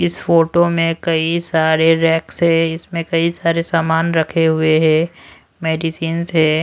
इस फोटो में कई सारे रैंक्स है। इसमें कई सारे सामान रखे हुए हैं। मेडिसिंस है।